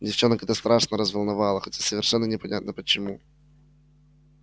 девчонок это страшно разволновало хотя совершенно непонятно почему